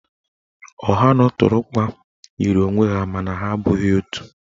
Ọha na ụtụrụkpa yiri onwe ha mana ha abụghị otu.